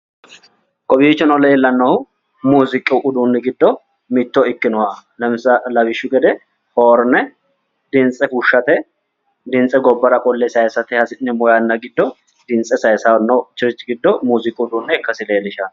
Kowiichono leellannohu muuziiqu uduunni giddo mitto ikkinoha lawishshu gede hoorine dimtse fushshate dimtse gobbara qolle saayiisate hasi'neemmo yanna giddo dimtse saayiisannonkerichi giddo muuziiqu uduunne ikkasi lellishanno.